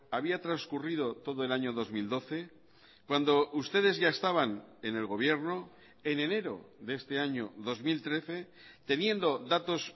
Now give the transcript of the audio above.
había transcurrido todo el año dos mil doce cuando ustedes ya estaban en el gobierno en enero de este año dos mil trece teniendo datos